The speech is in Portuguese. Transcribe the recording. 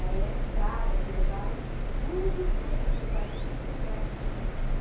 Aí entraram, aí levaram tudo, tudo, não deixaram uma colher para mim.